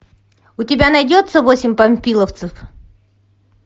у тебя найдется восемь панфиловцев